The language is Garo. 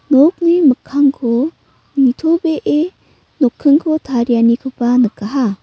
nokni mikkangko nitobee nokkingko tarianikoba nikaha.